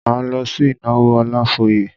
Máa lọ sí ìnáwó Ọlafóyè.